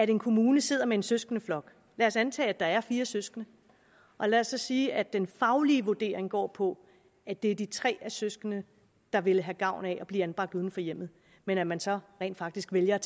en kommune sidder med en søskendeflok lad os antage at der er fire søskende og lad os så sige at den faglige vurdering går på at det er de tre søskende der ville have gavn af at blive anbragt uden for hjemmet men at man så rent faktisk vælger